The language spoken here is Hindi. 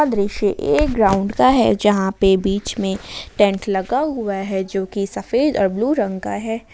दृश्य एक ग्राउंड का हैजहा पे बीच में टेंट लगा हुआ है जो कि सफेद और ब्लू रंग का है।